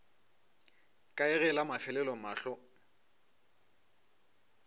kae ge la mafelelo mahlo